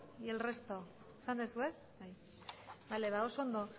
y el resto esan duzu ez bale oso ondo